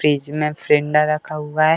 Fridge में फिरिंडा रखा हुआ है।